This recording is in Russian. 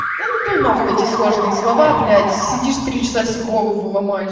да ну нахуй эти сложные слова блядь сидишь три часа себе голову ломаешь